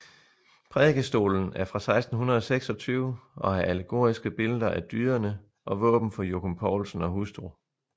Prædikestolen er fra 1626 og har allegoriske billeder af dyderne og våben for Jockum Poulsen og hustru